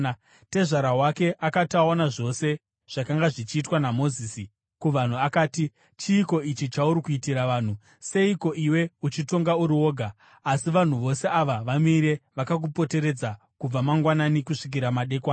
Tezvara wake akati aona zvose zvakanga zvichiitwa naMozisi kuvanhu, akati, “Chiiko ichi chauri kuitira vanhu? Seiko iwe uchitonga uri woga, asi vanhu vose ava vamire vakakupoteredza kubva mangwanani kusvikira madekwana?”